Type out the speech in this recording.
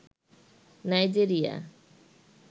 Nigeria